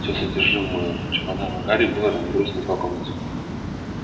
всё содержимое чемодана гарри было разбросано по комнате